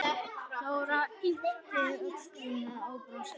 Dóra yppti öxlum og brosti.